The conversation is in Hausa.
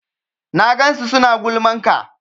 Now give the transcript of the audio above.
Na gansu suna gulman ka